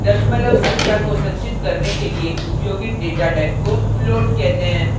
दशमलव संख्या को संचित करने के लिए उपयोगित data type को float कहते हैं